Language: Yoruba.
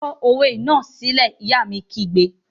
Kọ òwe náà sílẹ́! Ìyá mi kígbe!